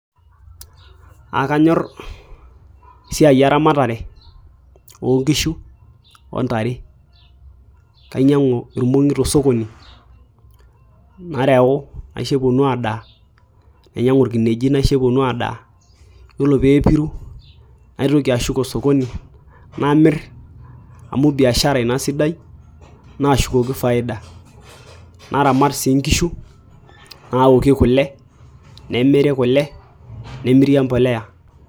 Aakanyor esiai eramatare oonkishu ontare kainyiang'u irmong'i tosokoni nareu naisho epuonu aadaaa nainyiang'ua irkineji naisho epuonu aadaa yiolo pee epiru naitoki ashuk osokoni namir amu biashara ina sidai naashukoki faida naramat sii inkishu naoki kule nemiri kule nemiri emboleya.